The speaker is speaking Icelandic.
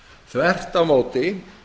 þvert á móti